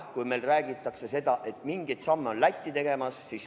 Meil räägitakse seda, et mingeid samme on ka Läti tegemas.